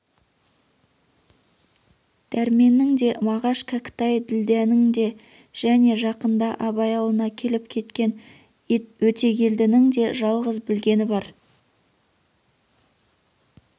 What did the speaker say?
дәрменнің де мағаш кәкітай ділдәнің де және жақында абай аулына келіп кеткен өтегелдінің де жалғыз білгені бар